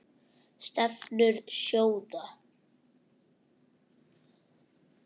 Stefnur sjóða